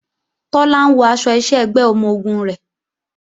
Tọ́lá ń wọ aṣọ iṣẹ́ ẹgbẹ́ ọmọ-ogun rẹ̀